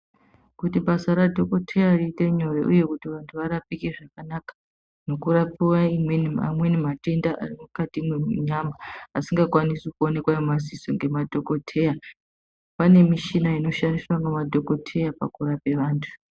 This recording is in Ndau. Kuti basa radhokodheya riite nyore uye kuti vantu varapike zvakanaka nekurapiwe amweni matenda ari mukati munyama asingakwanisi kuonekwa ngemadziso ngemadhokodheya, pane mishina inoshandiswa ngemadhokodheya pakurapa antu.